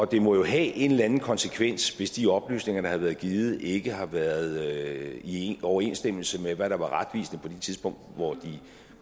det må jo have en eller anden konsekvens hvis de oplysninger der har været givet ikke har været i overensstemmelse med hvad der er retvisende på det tidspunkt hvor de